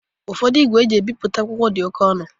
Ụfodu igwe e ji ebipụta akwụkwọ di ọke ọnu